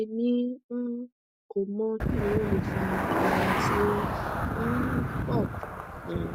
emi um ko mọ kini o le fa irora ti o um pọ um